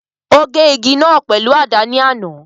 O gé igi náà pèlú àdá ni àná.